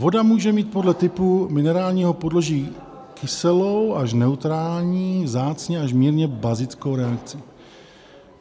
Voda může mít podle typu minerálního podloží kyselou až neutrální, vzácně až mírně bazickou reakci.